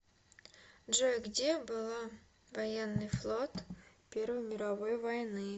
джой где была военный флот первой мировой войны